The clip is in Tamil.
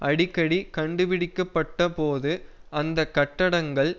அடிக்கடி கண்டுபிடிக்க பட்ட போது அந்த கட்டடங்கள்